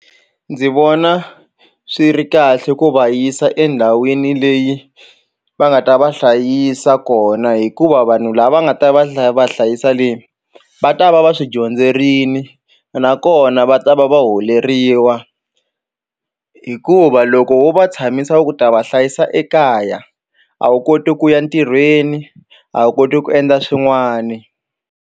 Ndzi vona swi ri kahle ku va yisa endhawini leyi va nga ta va hlayisa kona hikuva vanhu lava nga ta va va hlayisa le va ta va va swi dyondzerini nakona va ta va va holeriwa hikuva loko wo va tshamisa u ku ta va hlayisa ekaya a wu koti ku ya ntirhweni a wu koti ku endla swin'wani.